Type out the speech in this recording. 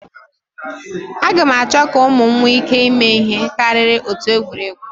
Aga m achọ ka ụmụ m nwee ike ịme ihe karịrị otu egwuregwu